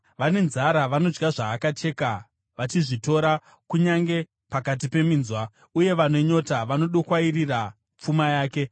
Vane nzara vanodya zvaakacheka, vachizvitora kunyange pakati peminzwa, uye vane nyota vanodokwairira pfuma yake.